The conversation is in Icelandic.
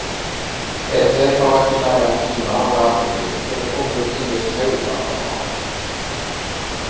Ef þeir fá ekki nægan tíma og athygli geta komið upp ýmis hegðunarvandamál.